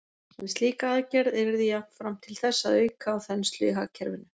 En slík aðgerð yrði jafnframt til þess að auka á þenslu í hagkerfinu.